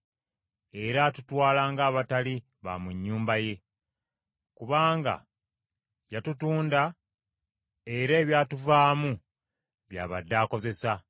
Era atutwala ng’abatali ba mu nnyumba ye. Kubanga yatutunda, era ebyatuvaamu bya badde akozesa.